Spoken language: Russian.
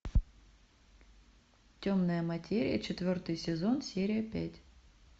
темная материя четвертый сезон серия пять